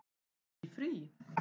Í frí?